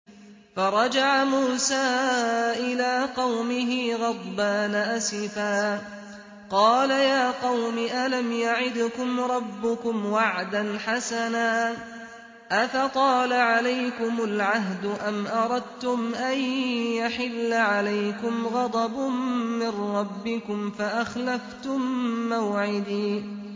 فَرَجَعَ مُوسَىٰ إِلَىٰ قَوْمِهِ غَضْبَانَ أَسِفًا ۚ قَالَ يَا قَوْمِ أَلَمْ يَعِدْكُمْ رَبُّكُمْ وَعْدًا حَسَنًا ۚ أَفَطَالَ عَلَيْكُمُ الْعَهْدُ أَمْ أَرَدتُّمْ أَن يَحِلَّ عَلَيْكُمْ غَضَبٌ مِّن رَّبِّكُمْ فَأَخْلَفْتُم مَّوْعِدِي